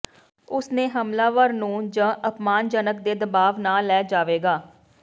ਉਸ ਨੇ ਹਮਲਾਵਰ ਨੂੰ ਜ ਅਪਮਾਨਜਨਕ ਦੇ ਦਬਾਅ ਨਾ ਲੈ ਜਾਵੇਗਾ